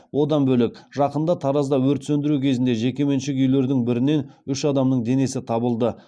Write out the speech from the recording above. одан бөлек жақында таразда өрт сөндіру кезінде жекеменшік үйлердің бірінен үш адамның денесі табылды